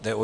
Jde o